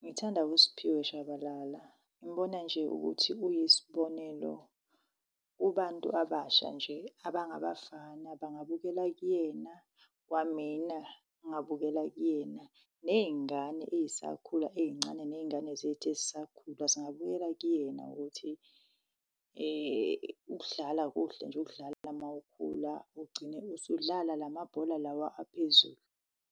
ngithanda uSphiwe Tshabalala. Ngimbona nje ukuthi uyisibonelo kubantu abasha nje abangabafana bangabukela kuyena, kwamina ngingabukela kuyena, ney'ngane ey'sakhula ey'ncane, ney'ngane zethu ezisakhula zingabukela kuyena ukuthi ukudlala kuhle nje, ukudlala mawukhula ugcine usudlala la mabhola lawa aphezulu.